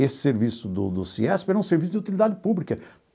Esse serviço do do CIESP era um serviço de utilidade pública.